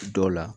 Dɔw la